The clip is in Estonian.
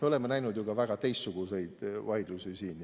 Me oleme näinud ka väga teistsuguseid vaidlusi siin.